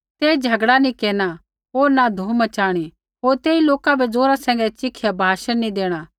तेई झगड़ा नी केरना होर न धूम मच़ाणी होर तेई लोका बै जोरा सैंघै चिखिया भाषण नैंई देणा